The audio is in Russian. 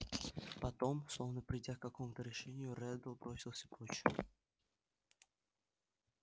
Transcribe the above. потом словно придя к какому-то решению реддл бросился прочь